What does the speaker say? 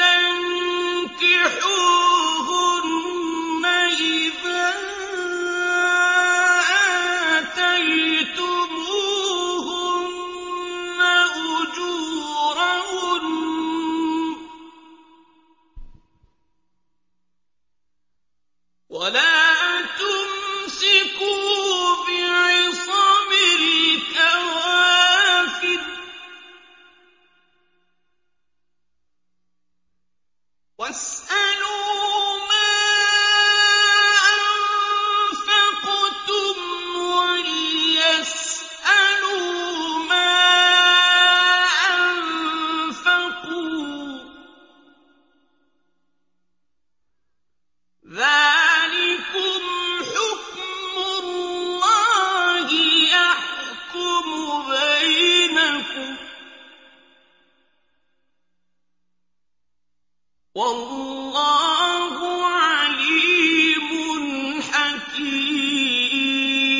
تَنكِحُوهُنَّ إِذَا آتَيْتُمُوهُنَّ أُجُورَهُنَّ ۚ وَلَا تُمْسِكُوا بِعِصَمِ الْكَوَافِرِ وَاسْأَلُوا مَا أَنفَقْتُمْ وَلْيَسْأَلُوا مَا أَنفَقُوا ۚ ذَٰلِكُمْ حُكْمُ اللَّهِ ۖ يَحْكُمُ بَيْنَكُمْ ۚ وَاللَّهُ عَلِيمٌ حَكِيمٌ